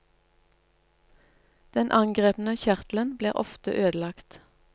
Den angrepne kjertelen blir ofte ødelagt.